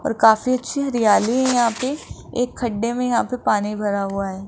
और काफी अच्छी हरियाली है यहां पे एक खड्डे में यहां पे पानी भरा हुआ है।